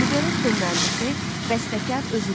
Libretto müəllifi, bəstəkar özüdür.